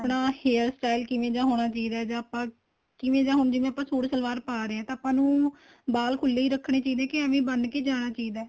ਆਪਣਾ hair style ਕਿਵੇਂ ਦਾ ਹੋਣਾ ਚਾਹੀਦਾ ਏ ਜਾਂ ਆਪਾਂ ਕਿਵੇਂ ਦਾ ਹੁਣ ਆਪਾਂ suit ਸਲਵਾਰ ਪਾਹ ਰਹੇ ਏ ਤਾਂ ਆਪਾਂ ਨੂੰ ਵਾਲ ਖੁੱਲੇ ਹੀ ਰੱਖਣੇ ਚਾਹੀਦੇ ਏ ਕੇ ਐਵੇ ਬੰਨ ਕੇ ਹੀ ਜਾਣਾ ਚਾਹੀਦਾ ਏ